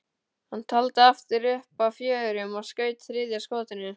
Hann taldi aftur upp að fjórum og skaut þriðja skotinu.